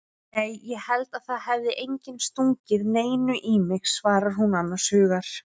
Nei ég held að það hafi enginn stungið neinu í mig, svarar hún annars hugar.